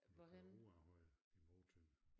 Du kører ud af Højer imod Tønder